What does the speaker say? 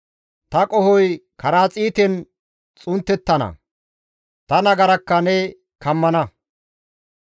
Ta qohoy karaxiiten xunttettana; ta nagarakka ne kammana.